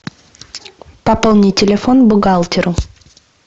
пополни телефон бухгалтеру